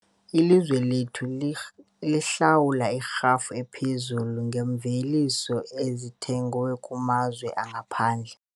Ilizwe lethu lihlawula irhafu ephezulu ngeemveliso ezithengwe kumazwe angaphandle.